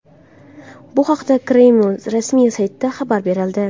Bu haqda Kreml rasmiy saytida xabar berildi .